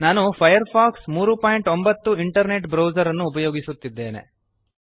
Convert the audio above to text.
ನಾನು Firefox 309 internet browser ಅನ್ನು ಉಪಯೋಗಿಸುತ್ತಿದ್ದೇನೆ